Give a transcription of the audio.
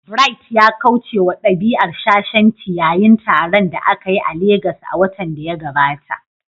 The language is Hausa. Bright ya kauce wa dabi'ar shashanci yayin taron da aka yi a Legas a watan da ya gabata.